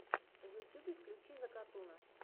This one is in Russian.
в ютьюбе включи закатуна